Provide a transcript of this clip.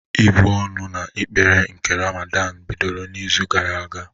Ị́bụ̀ ọnụ na ekpere nke Ramadan bidoro n'izu gara aga?